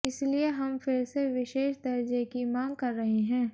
इसलिये हम फिर से विशेष दर्जे की मांग कर रहे हैं